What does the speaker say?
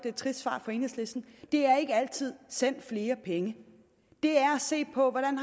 et trist svar for enhedslisten ikke altid send flere penge det er at se på hvordan